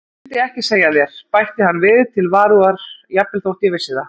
Og myndi ekki segja þér, bætti hann við til varúðar,-jafnvel þótt ég vissi það.